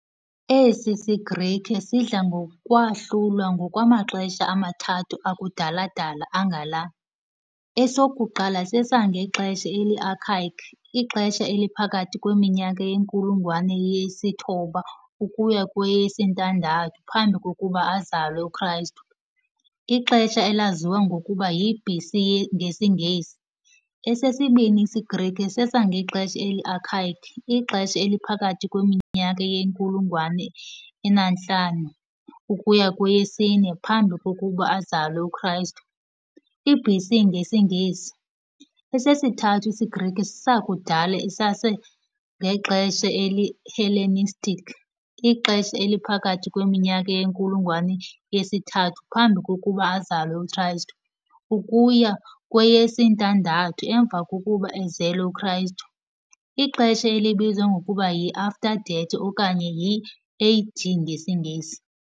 Esi siGrike sidla ngokwahlulwa ngokwamaxesha amathathu akudala-dala angala, esokuqala sesangexesha eli-archaic, ixesha eliphakathi kweminyaka yenkulungwane yesi-9 ukuya kweyesi-6 Phambi kokuba azalwe uChrist, ixesha elaziwa ngokuba yi-BC ngesiNgesi. Esesibini isiGrike sesangexesha eli-archaic, ixesha eliphakathi kweminyaka yenkulungwane enantlanu ukuya kweyesi-4 phambi kokuba azalwe uChrist, i-BC ngesiNgesi. Esesithathu isiGrike sakudala sesangexesha eli-Hellenistic, ixesha eliphakathi kweminyaka yenkulungwane yesi-3 phambi kokuba azalwe uChrist, ukuya kweyesi-6 emva kokuba ezelwe uChrist ixesha elibizwa ngokuba yi-after death okanye i-AD ngesiNgesi.